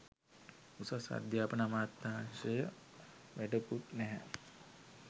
උසස් අධ්‍යාපන අමාත්‍යංශය වැඩකුත් නැහැ